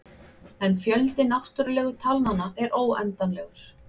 En fjöldi náttúrulegu talnanna er óendanlegur.